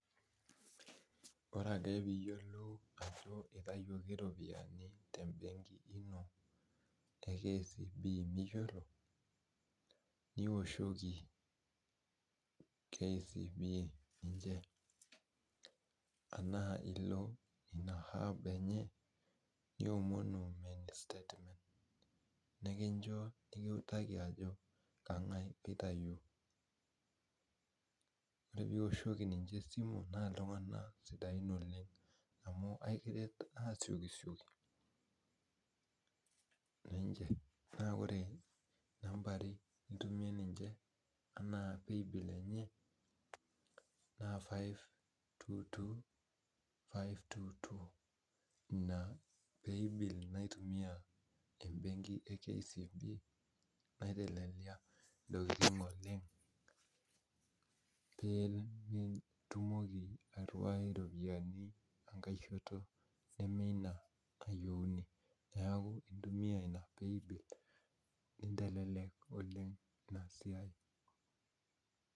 Ore ake piyiolou ajo itayioki ropiyiani tebenki ino,e KCB miyiolo, niwoshoki KCB ninche naa nilo ina app enye, niomonu mini statement, nikincho nikiutaki ajo kang'ae oitayio. Ore piwoshoki ninche esimu, naa iltung'anak sidain oleng, amu aikiret asiokisioki, na ore nambari nitumie ninche anaa pay bill enye, na five- two- two, five- two- two, ina pay bill enye naitumia ebenki e KCB, naitelelia intokiting oleng, pe nitumoki airriwai iropiyiani enkae shoto ina nayieuni. Neeku intumia ina pay bill, nitelelek oleng inasiai.